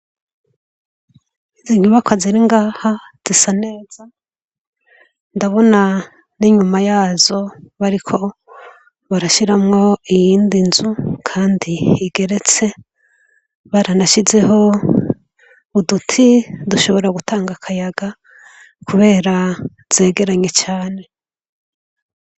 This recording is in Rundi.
Izi nyubakwa ziri ngaha zisa neza, ndabona n'inyuma yazo bariko barashiramwo iyindi nzu, kandi igeretse baranashizeho uduti dushobora gutanga akayaga kubera zegeranye cane.